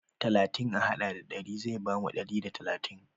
Talatin a haɗa da ɗari zai bamu ɗari da talatin.